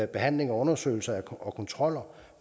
behandlinger og undersøgelser og kontroller